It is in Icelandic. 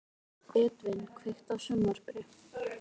Edvin, kveiktu á sjónvarpinu.